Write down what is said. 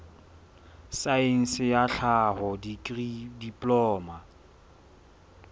saense ya tlhaho dikri diploma